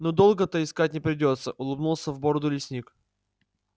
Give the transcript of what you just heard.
ну долго-то искать не придётся улыбнулся в бороду лесник